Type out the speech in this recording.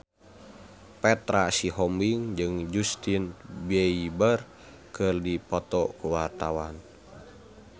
Petra Sihombing jeung Justin Beiber keur dipoto ku wartawan